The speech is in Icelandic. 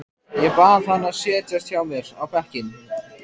Ég bað hann að setjast hjá mér á bekkinn.